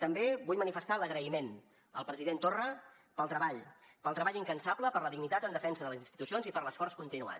també vull manifestar l’agraïment al president torra pel treball pel treball incansable per la dignitat en defensa de les institucions i per l’esforç continuat